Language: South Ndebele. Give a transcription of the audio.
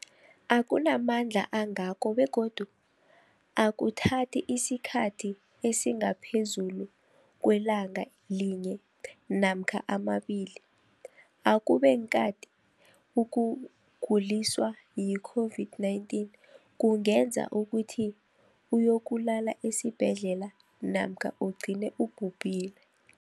akuna mandla angako begodu akuthathi isikhathi esingaphezulu kwelanga linye namkha mabili, ukube kanti ukuguliswa yi-COVID-19 kungenza ukuthi uyokulala esibhedlela namkha ugcine ubhubhile.